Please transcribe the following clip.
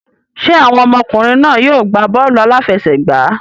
Ṣé àwọn ọmọkùnrin náà yóò gbá bọ́ọ̀lù aláfẹsẹ̀gbá?